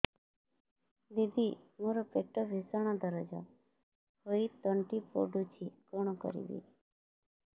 ଦିଦି ମୋର ପେଟ ଭୀଷଣ ଦରଜ ହୋଇ ତଣ୍ଟି ପୋଡୁଛି କଣ କରିବି